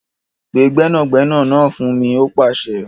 Pe gbẹ́nàgbẹnà náà fún mi! ó pàsẹ.